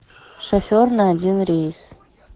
шофер на один рейс